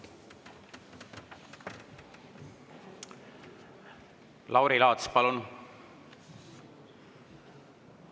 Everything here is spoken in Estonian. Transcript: Lauri Laats, palun!